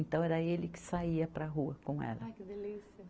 Então, era ele que saía para a rua com ela. Ai que delícia